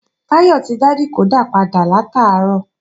Táyọ̀ ti dá dìkódà padà látàárọ̀